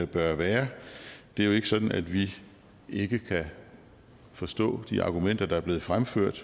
bør være det er jo ikke sådan at vi ikke kan forstå de argumenter der er blevet fremført